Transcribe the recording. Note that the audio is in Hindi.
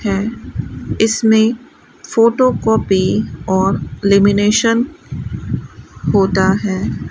है इसमें फोटोकॉपी और लेमिनेशन होता है।